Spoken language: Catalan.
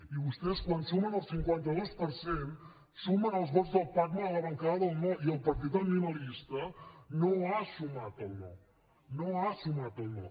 i vostès quan sumen el cinquanta dos per cent sumen els vots del pacma a la bancada del no i el partit animalista no ha sumat al no no ha sumat al no